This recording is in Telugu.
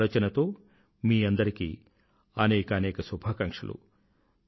ఇదే ఆలోచనతో మీ అందరికీ అనేకానేక శుభాకాంక్షలు